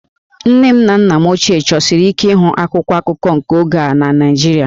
Nne na nna m ochie chọsiri ike ịhụ akwụkwọ akụkọ nke oge a na Naịjirịa